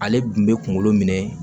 Ale kun bɛ kunkolo minɛ